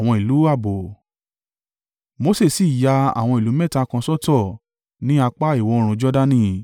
Mose sì ya àwọn ìlú mẹ́ta kan sọ́tọ̀ ní apá ìwọ̀-oòrùn Jordani.